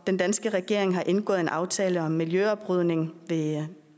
den danske regering har indgået en aftale om miljøoprydning ved